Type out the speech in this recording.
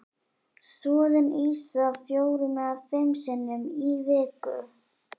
Soðin ýsa fjórum eða fimm sinnum í viku.